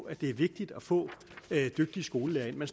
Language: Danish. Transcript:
at det er vigtigt at få dygtige skolelærere man